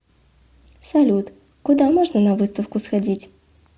салют куда можно на выставку сходить